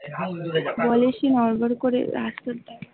বলে সে নড় বড় করে উঠে পড়ল ।